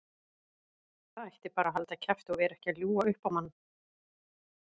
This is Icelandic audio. Það ætti bara að halda kjafti og vera ekki að ljúga upp á mann.